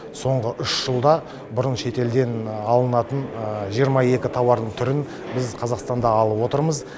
соңғы үш жылда бұрын шетелден алынатын жиырма екі тауардың түрін біз қазақстанда алып отырмыз